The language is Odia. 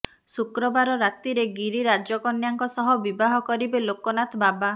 ଶୁକ୍ରବାର ରାତିରେ ଗିରିରାଜ କନ୍ୟାଙ୍କ ସହ ବିବାହ କରିବେ ଲୋକନାଥ ବାବା